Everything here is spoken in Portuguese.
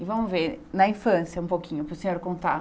E vamos ver, na infância, um pouquinho, para o senhor contar.